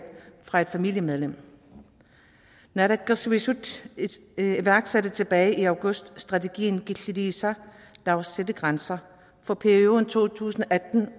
fra et familiemedlem naalakkersuisut iværksatte tilbage i august strategien killiliisa lad os sætte grænser for perioden to tusind